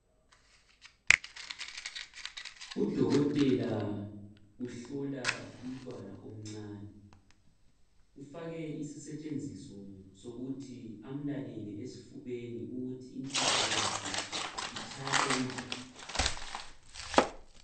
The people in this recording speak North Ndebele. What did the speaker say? Udokotela uhlola umntwana omncane ufake isisetshenziso sokuthi amlalele esifubeni ukuthi inhliziyo yakhe itshaya okunjani.